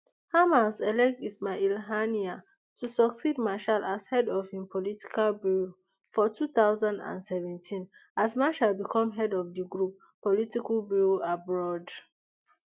hamas elect ismail haniyeh to succeed meshaal as head of im political bureau for two thousand and seventeen as meshaal become head of di group political bureau abroad